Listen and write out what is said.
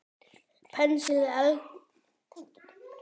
Penslið eldfast mót með smjöri.